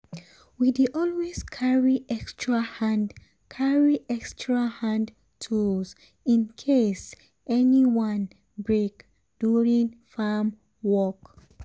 we dey always carry extra hand carry extra hand tools in case any one break during farm work.